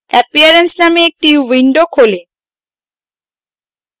appearance named একটি window খোলে